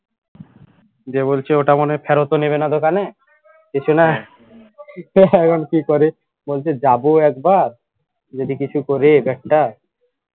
দিয়ে বলছে ওটা মনে হয় ফেরতও নেবে না দোকানে কিছু না তো এখন কি করি বলছে যাব একবার যদি কিছু করিস একটা